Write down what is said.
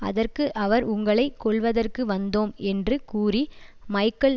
அதற்கு அவர் உங்களை கொல்வதற்கு வந்தோம் என்று கூறி மைக்கேல்